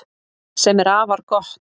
Sem er afar gott